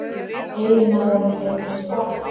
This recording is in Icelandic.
Eiginmaðurinn reyndist kona